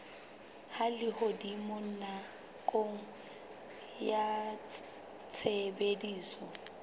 a lehodimo nakong ya tshebediso